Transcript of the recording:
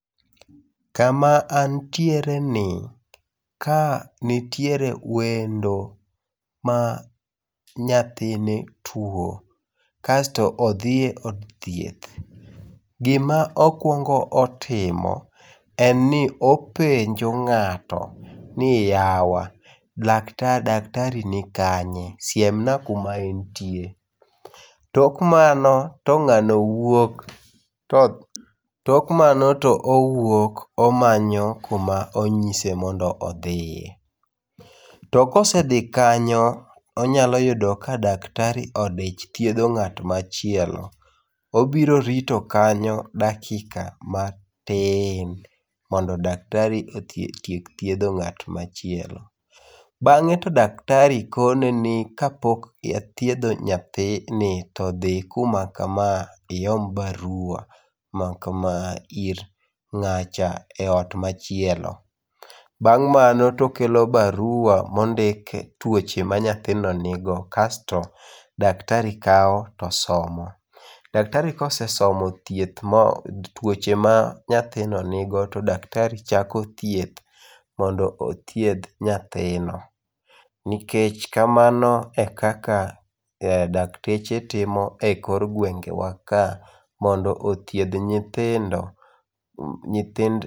Kama antiere ni, kaa nitiere wendo ma nyathine twuo, kasto othie od thieth, gima okwongo timo en ni okwongo' penjo nga'to ni yawa laktari daktari ni kanye siemna kuma entie, tok mano to nga'no wuok, tok mano to uwuok omanyo kuma onyise mondo othie, to kose thi kanyo onyalo yudo ka daktari odich thietho nga't machielo obiro rito kanyo dakika matin mondo daktari otiek thietho nga't machielo, bange' to daktari kone ni ka pok athietho nyathini to thi kuma kama iom barua makama ir nga'cha e ot machielo, bang' mano to okelo barua mondik tuoche manyathino nigo kasto daktari kawo to somo , daktari ka osesomo thiethi tuoche ma nyathino nigo to daktari chako thieth mondo othieth nyathino, nikech kamano e kaka dakteche timo e kor gwengewa kaa mondo othith nyithindo nyithind.